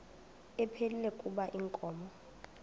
ephilile kuba inkomo